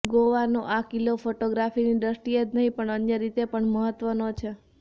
ગોવાનો આ કિલ્લો ફોટોગ્રાફીની દ્રષ્ટિએ જ નહીં પણ અન્ય રીતે પણ મહત્વનો છે